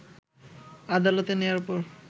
আদালতে নেয়ার পর